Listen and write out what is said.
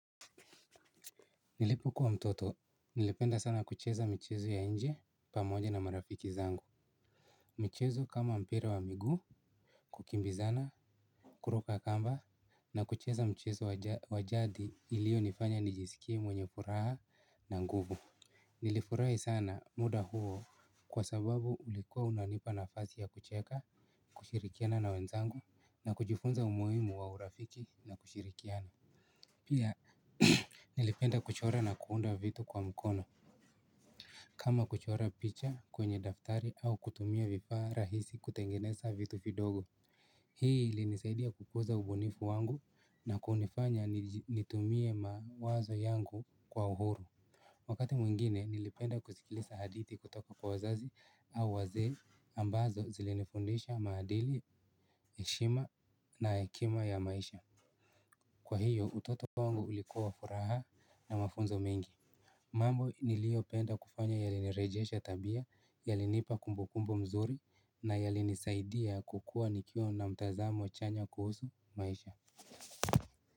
Nilipokuwa mtoto, nilipenda sana kucheza michezo ya nje pamoja na marafiki zangu. Michezo kama mpira wa migu, kukimbizana, kuruka kamba na kucheza mchezo wa jadi iliyonifanya nijisikie mwenye furaha na nguvu. Nilifurahi sana muda huo kwa sababu ulikuwa unanipa nafasi ya kucheka, kushirikiana na wenzangu na kujifunza umuhimu wa urafiki na kushirikiana. Pia nilipenda kuchora na kuunda vitu kwa mkono. Kama kuchora picha kwenye daftari au kutumia vifaa rahisi kutengeneza vitu fidogo. Hii ilinisaidia kukuza ubunifu wangu, na kunifanya nitumie mawazo yangu kwa uhuru. Wakati mwingine nilipenda kuzikilisa hadithi kutoka kwa wazazi au wazee ambazo zilinifundisha maadili, heshima na hekima ya maisha. Kwaiyo, utoto kwangu ulikuwa furaha na mafunzo mengi. Mambo niliyopenda kufanya yalinirejesha tabia yalinipa kumbukumbu nzuri na yalinisaidia kukua nikiwa na mtazamo chanya kuhusu maisha.